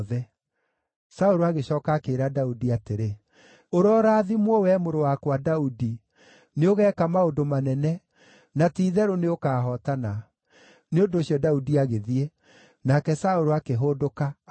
Saũlũ agĩcooka akĩĩra Daudi atĩrĩ, “Ũrorathimwo, wee mũrũ wakwa, Daudi; nĩũgeeka maũndũ manene, na ti-itherũ nĩũkahootana.” Nĩ ũndũ ũcio Daudi agĩthiĩ, nake Saũlũ akĩhũndũka, akĩinũka.